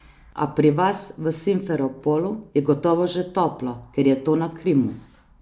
A, pri vas v Simferopolu je gotovo že toplo, ker je to na Krimu.